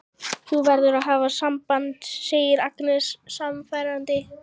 Þú verður að hafa samband, segir Agnes sannfærandi.